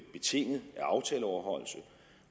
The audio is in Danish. betinget af aftaleoverholdelse